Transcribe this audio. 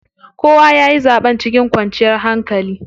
Kowa yayi zaɓen cikin kwanciyar hankali.